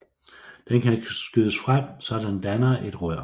Den kan skydes frem så den danner et rør